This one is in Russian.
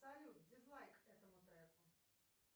салют дизлайк этому треку